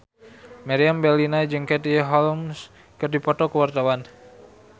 Meriam Bellina jeung Katie Holmes keur dipoto ku wartawan